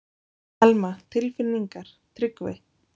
Telma: Tilfinningar, Tryggvi?